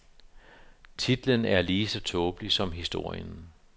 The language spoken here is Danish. Titlen er lige så tåbelig som historien.